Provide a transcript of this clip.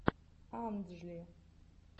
анджли